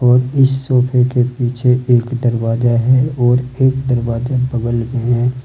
और इस सोफे के पीछे एक दरवाजा है और एक दरवाजा बगल में है।